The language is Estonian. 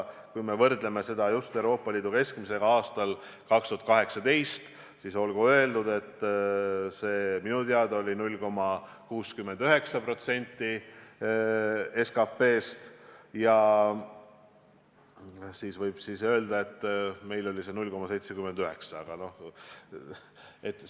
Kui me võrdleme seda just Euroopa Liidu keskmisega aastal 2018, siis olgu öeldud, et minu teada oli see 0,69% SKT-st, ja siinkohal võib öelda, et meil oli see 0,79%.